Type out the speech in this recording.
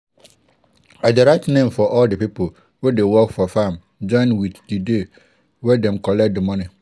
i i dey write name of all di people wey dey work for farm join with di day wey dem dey collect di moni.